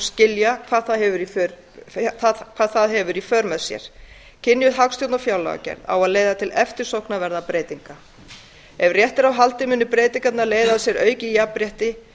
skilja hvað það hefur í för með sér kynjuð hagstjórn og fjárlagagerð á að leiða til eftirsóknarverðra breytinga ef rétt er á haldið munu breytingarnar leiða af sér aukið jafnrétti